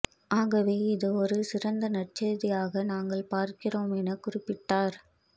ஆகவே இது ஒரு சிறந்த நற்செய்தியாக நாங்கள் பார்க்கிறோம் என குறிப்பிட்டார்